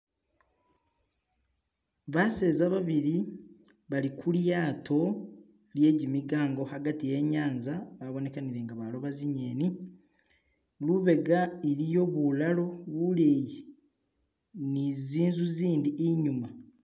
baseza babili bali kulyato lyejimigango hagati yenyanza babonekanile nga baloba zinyeni lubega iliyo bulalo buleyi nizinzu zindi inyuma